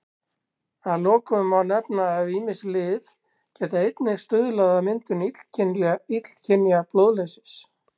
Að lokum má nefna að ýmis lyf geta einnig stuðlað að myndun illkynja blóðleysis.